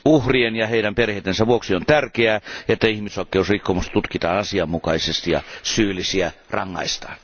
Uhrien ja heidän perheidensä vuoksi on tärkeää, että ihmisoikeusrikkomukset tutkitaan asianmukaisesti ja syyllisiä rangaistaan.